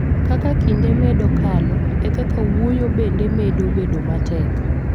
Kaka kinde medo kalo, e kaka wuoyo bende medo bedo matek.